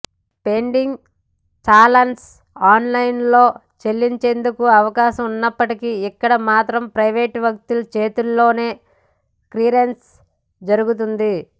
pending challans ఆన్లైన్లో చెల్లించేందుకు అవకాశం ఉన్నప్పటికీ ఇక్కడ మాత్రం ప్రైవేట్ వ్యక్తి చేతుల్లోనే క్లియరెన్స్ జరుగుతోంది